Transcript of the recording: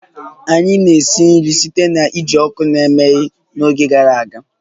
Anyị na-esi nri site na iji ọkụ na-emeghe n'oge gara aga